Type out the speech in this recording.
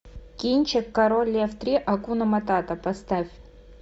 кинчик король лев три акуна маната поставь